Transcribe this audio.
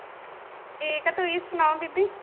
ਠੀਕ ਆ ਤੁਸੀਂ ਸੁਣਾਓ ਬੀਬੀ